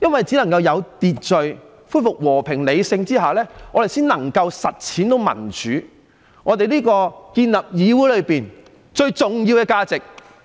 只要有秩序，恢復和平、理性，我們才能夠實踐民主，建立議會最重要的價值。